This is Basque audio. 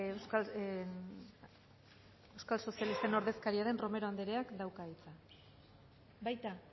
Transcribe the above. bale ba euskal sozialisten ordezkaria den romero andreeak dauka hitza baita